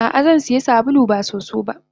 Ah ah Zansiya sabulu ba soso ba.